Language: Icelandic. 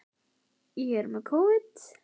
Kolur hans Gústa gamla á Nesi.